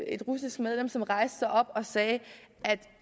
et russisk medlem som rejste sig op og sagde at